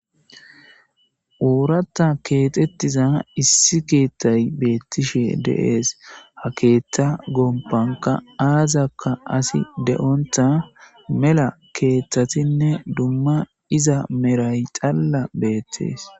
uuratta keetettiza issi keettay beettishe deees ha keeta gompanka aazakka asi de7onta mela keeththatinne dumma iza meray xalla beettees